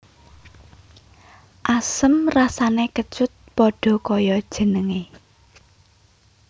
Asem rasané kecut pada kaya jenengé